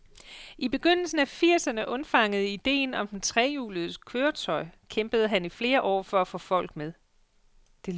I begyndelsen af firserne undfangede idéen om det trehjulede køretøj, kæmpede han i flere år for at få folk med.